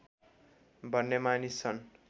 भन्ने मानिस छन्